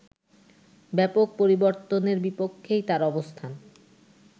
ব্যাপক পরিবর্তনের বিপক্ষেই তার অবস্থান